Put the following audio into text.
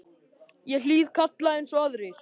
Ég hlýði kalli eins og aðrir.